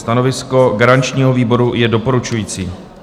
Stanovisko garančního výboru je doporučující.